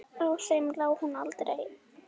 Á þeim lá hún aldrei.